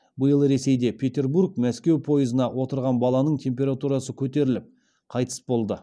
биыл ресейде петербург мәскеу пойызына отырған баланың температурасы көтеріліп қайтыс болды